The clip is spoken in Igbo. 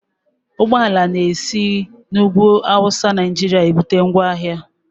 Ụgbọala na-esi n'ugwu Awụsa Naijiria ebute ngwaahịa